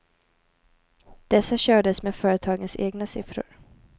Dessa kördes med företagens egna siffror.